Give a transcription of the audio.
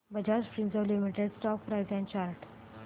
Bajaj Finserv limited stock price and chart